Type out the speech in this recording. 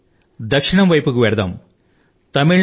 రండి దక్షిణం వైపునకు వెళ్దాం